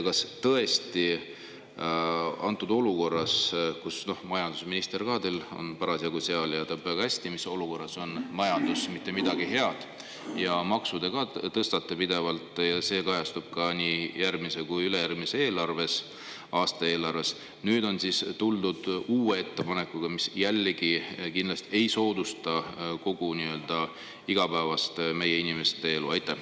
Kas tõesti antud olukorras, kus ka majandusminister, kes samuti siin on, teab väga hästi, mis olukorras on majandus, et seal ei ole mitte midagi head, ja makse te tõstate pidevalt, mis kajastub nii järgmise kui ka ülejärgmise aasta eelarves, on siis tuldud uue ettepanekuga, mis jällegi kindlasti ei soodusta meie inimeste igapäevast elu?